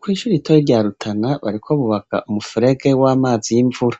Kw'ishure ritoya rya Rutana bariko bubaka umufurege w'amazi y'imvura.